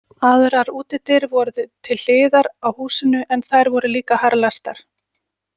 Aðrar útidyr voru til hliðar á húsinu en þær voru líka harðlæstar.